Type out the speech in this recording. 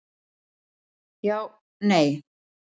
Já, nei.